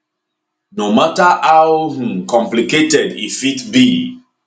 no mata how um complicated e fit be